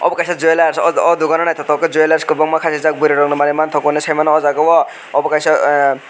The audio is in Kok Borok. abo kaisa jewellers oh dogano naithotok khe jewellers kwbanga kwbangma khei rijak burui rok ni manui manthogo saimano oh jaga o obo kaisa eh.